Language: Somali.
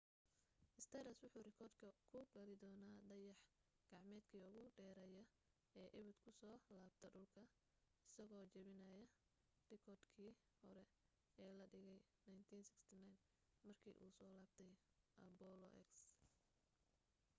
stardust wuxu rikoodhka ku geli doonaa dayax-gacmeedkii ugu dheerayaa ee abid ku soo laabta dhulka isagoo jebinaya rikoodh kii hore ee la dhigay 1969 markii uu soo laabtay apollo x